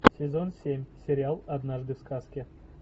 сезон семь сериал однажды в сказке